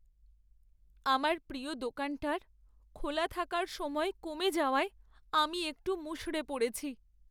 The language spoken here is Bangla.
আমার প্রিয় দোকানটার খোলা থাকার সময় কমে যাওয়ায় আমি একটু মুষড়ে পড়েছি।